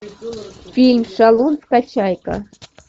фильм шалун скачай ка